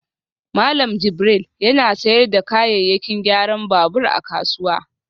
Malam Jibril yana sayar da kayayyakin gyaran babur a kasuwa